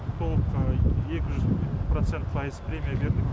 толық екі жүз процент пайыз премия бердік